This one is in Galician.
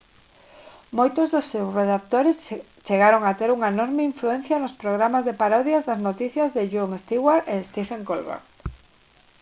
moitos dos seus redactores chegaron a ter unha enorme influencia nos programas de parodias das noticias de jon stewart e stephen colbert